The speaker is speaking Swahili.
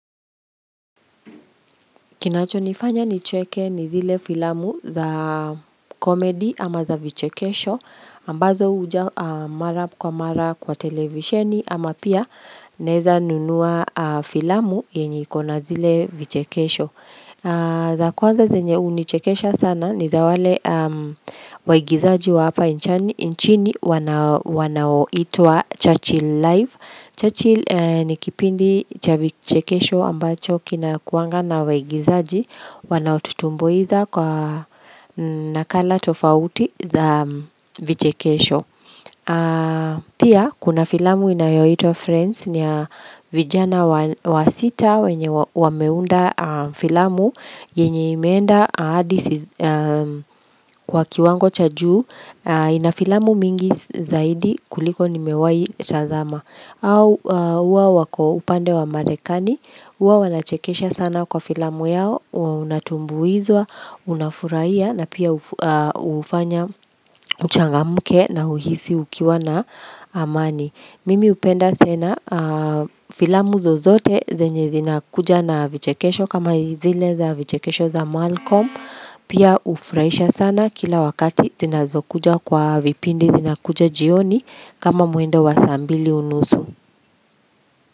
Kinacho nifanya nicheke ni zile filamu za komedi ama za vichekesho ambazo uja mara kwa mara kwa televisheni ama pia naeza nunua filamu yenye kona zile vichekesho za kwanza zenye unichekesha sana ni za wale waigizaji wa hapa inchini wanao itua Churchill live Churchill nikipindi cha vichekesho ambacho kina kuanga na waigizaji wanaututumbuiza kwa nakala tofauti za vichekesho. Pia kuna filamu inayoitwa Friends ni ya vijana wa sita wenye wameunda filamu yenye imeenda adisi kwa kiwango cha juu inafilamu mingi zaidi kuliko nimewayi tazama. Au uwa wako upande wa marekani, uwa wanachekesha sana kwa filamu yao, unatumbu izwa, unafuraia na pia ufanya uchangamuke na uhisi ukiwa na amani. Mimi upenda sena filamu zo zote zenye zina kuja na vichekesho kama zile za vichekesho za malcom Pia ufraisha sana kila wakati zina zokuja kwa vipindi zina kuja jioni kama mwendo wa saa mbili unusu.